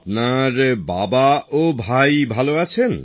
আপনার বাবা ও ভাই ভালো আছেন